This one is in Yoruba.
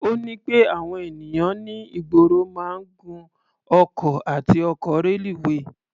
Ó ní pé àwọn ènìyàn ní ìgboro máa ń gun ọkọ̀ àti ọkọ̀ reluwé.